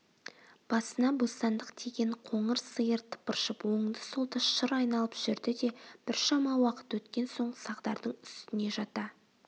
басына бостандық тиген қоңыр сиыр тыпыршып оңды-солды шыр айналып жүрді де біршама уақыт өткен соң сағдардың үстіне жата